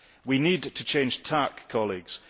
We need to change tack, colleagues.